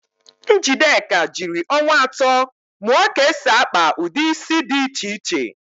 Njideka jiri ọnwa atọ mụọ ka esi akpa ụdị ísí dị iche iche.